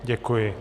Děkuji.